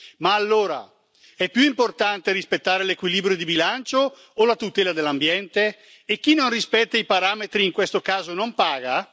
Ma allora, è più importante rispettare l'equilibrio di bilancio o la tutela dell'ambiente? E chi non rispetta i parametri in questo caso non paga?